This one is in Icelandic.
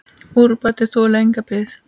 Úrbætur þoli enga bið.